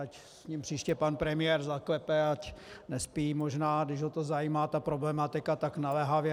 Ať s ním příště pan premiér zaklepe, ať nespí možná, když ho to zajímá, ta problematika tak naléhavě.